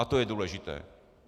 A to je důležité.